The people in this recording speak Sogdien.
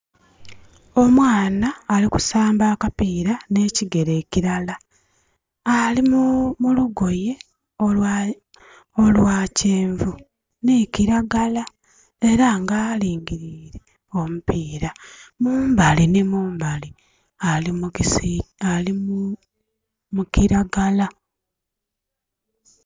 Omwana ali kusamba akapira nekigere kilala, alimulugoye olwa kyenvu nhi kilagala era nga alingirire omupira mumbali nhi mumbali ali mu kilgala.